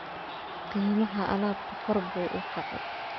Qiimaha alaabtu kor buu u kacay